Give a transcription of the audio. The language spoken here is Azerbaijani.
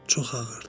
Çox ağırdır.